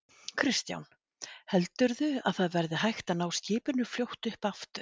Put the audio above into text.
Kristján: Heldurðu að það verði hægt að ná skipinu fljótt upp aftur?